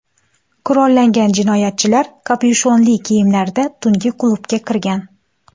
Qurollangan jinoyatchilar kapyushonli kiyimlarda tungi klubga kirgan.